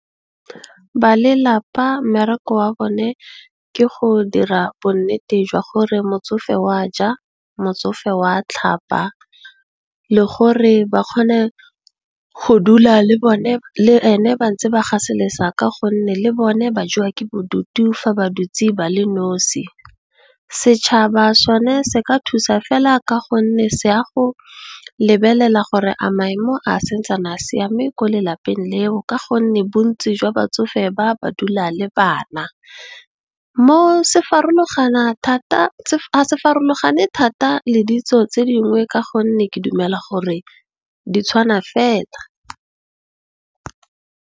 Ba lelapa mmereko wa bone ke go dira bonnete jwa gore motsofe wa ja, motsofe wa tlhapa le gore ba kgone go dula le ene ba ntse ba gaselesa ka gonne le bone ba jewa ke bodutu fa ba dutse ba le nnosi. Setšhaba sone se ka thusa fela ka gonne, se a go lebelela gore a maemo a santsane a siame ko lelapeng leo ka gonne, bontsi jwa batsofe ba, ba dula le bana. Mo ga se farologane thata le ditso tse dingwe ka gonne ke dumela gore di tshwana fela.